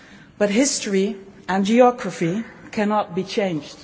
But history and geography cannot be changed.